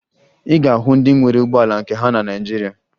Ị ga-ahụ ndị nwere ụgbọala nke ha na Naịjirịa